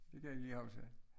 Det kan jeg ikke lige huske